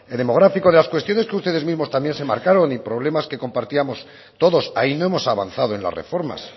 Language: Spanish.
demográfico las cuestiones que ustedes mismos también se marcaron y problemas que compartíamos todos ahí no hemos avanzado en las reformas